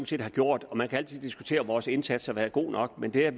set har gjort og man kan altid diskutere om vores indsats har været god nok men det at